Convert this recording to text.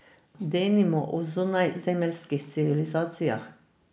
Denimo o zunajzemeljskih civilizacijah.